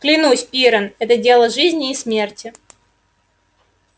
клянусь пиренн это дело жизни и смерти